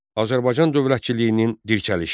Azərbaycan dövlətçiliyinin dirçəlişi.